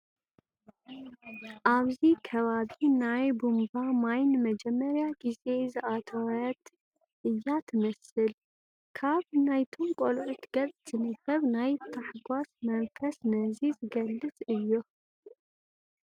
ኣብዚ ከባቢ ናይ ቡንባ ማይ ንመጀመሪያ ግዜ ዝኣተወት እያ ትመስል፡፡ ካብ ናይቶም ቆልዑ ገፅ ዝንበብ ናይ ተሗጓስ መንፈስ ነዚ ዝገልፅ እዩ፡፡